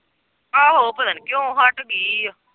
ਆਹੋ ਉਹ ਪਤਾ ਨੀ ਕਿਉਂ ਹਟ ਗਈ ਏ।